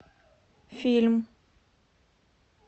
фильм